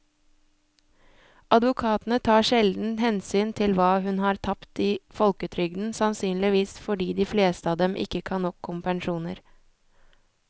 Advokatene tar sjelden hensyn til hva hun har tapt i folketrygden, sannsynligvis fordi de fleste av dem ikke kan nok om pensjoner.